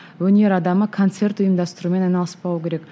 өнер адамы концерт ұйымдастырумен айналыспау керек